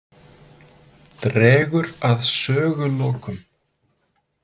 Dregur að sögulokum.